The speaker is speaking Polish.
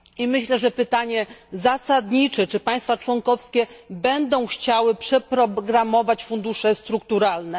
Myślę, że pytanie zasadnicze brzmi czy państwa członkowskie będą chciały przeprogramować fundusze strukturalne.